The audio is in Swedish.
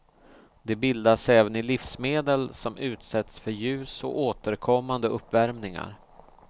De bildas även i livsmedel som utsätts för ljus och återkommande uppvärmningar.